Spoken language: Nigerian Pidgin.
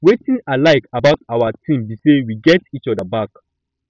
wetin i like about our team be say we get each other back